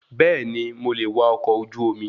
Bẹẹni, mo le è wá ọkọ̀ ojú omi